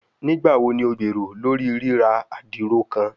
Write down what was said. Nigbawo ni o gbero lori rira adiro kan?